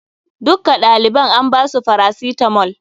Dukka ɗaliban an ba su farasitamol.